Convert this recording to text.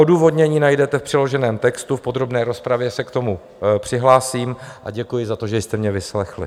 Odůvodnění najdete v přiloženém textu, v podrobné rozpravě se k tomu přihlásím a děkuji za to, že jste mě vyslechli.